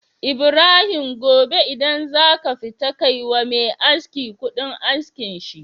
Ibrahim gobe idan kafita ka kai wa Me aski Ƙudin askin shi